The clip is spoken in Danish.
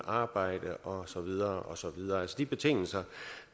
arbejde og så videre og så videre gennemgang af de betingelser